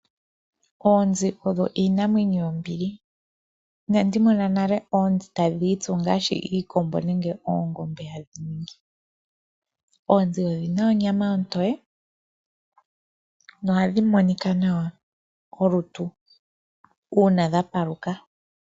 Oonzi dho iinamwenyo yombili, inandi mona nale oonzi tadhii tsu ngaashi iikombo nenge oongombe hadhi ningi, oonzi odhina onyama otoye nohadhi monika nawa kolutu uuna dha paluka.